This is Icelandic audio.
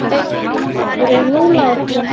Ólafur er nú látinn.